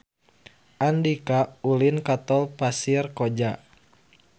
Andika ulin ka Tol Pasir Koja